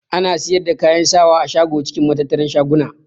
Ana siyar da kayan sawa a shago cikin matattarar shaguna.